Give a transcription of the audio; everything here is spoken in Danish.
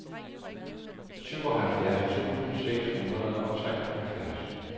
syvoghalvfjerds tusind seks hundrede og treoghalvfjerds